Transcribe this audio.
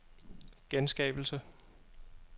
genskabelse